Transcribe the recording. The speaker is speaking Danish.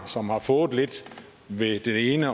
som har fået lidt ved den ene